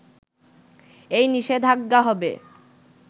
এই নিষেধাজ্ঞা হবে